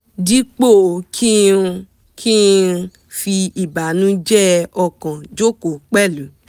dípò kí n kí n fi ìbànújẹ ọkàn jókòó pẹ̀lú